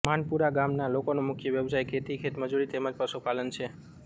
માનપુરા ગામના લોકોનો મુખ્ય વ્યવસાય ખેતી ખેતમજૂરી તેમ જ પશુપાલન છે